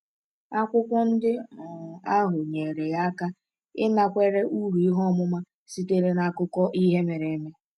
Akwụkwọ ndị um ahụ nyere ya aka ịnakwere uru ihe ọmụma sitere n’akụkọ ihe mere eme.